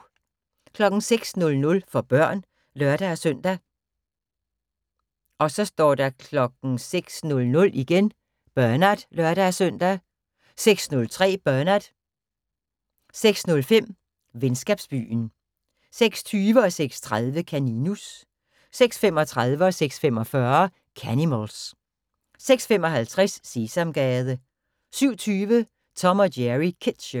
06:00: For børn (lør-søn) 06:00: Bernard (lør-søn) 06:03: Bernard 06:05: Venskabsbyen 06:20: Kaninus 06:30: Kaninus 06:35: Canimals 06:45: Canimals 06:55: Sesamgade 07:20: Tom & Jerry Kids Show